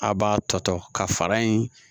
A' b'a tɔ ka fara in